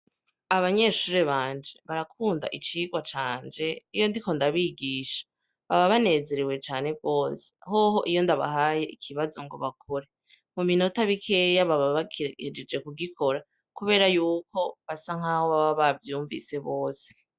Abanyeshure banje barakunda icigwa canje iyo ndiko ndabigisha baba banezerewe cane gose, hoho iyo ndabahaye ikibazo ngo bakore mu minota mikeya baba bagihejeje kugikora, kubera yuko baba bavyumvise bose.